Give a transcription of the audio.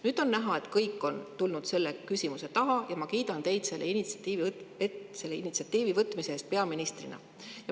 Nüüd on näha, et kõik on tulnud selle küsimuse taha, ja ma kiidan teid selle initsiatiivi võtmise eest peaministrina.